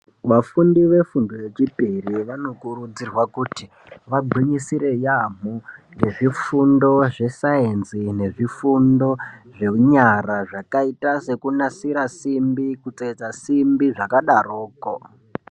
Vafundi vefundo yechipiri vanokurudzirwa kuti vagwinyisire yaamho ngezvifundo zvesayenzi nezvifundo zvenyara zvakaitwa sekunasira simbi kutsetsa simbi zvakadaroko.